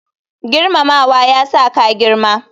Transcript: Girmamawa ya sa ka girma.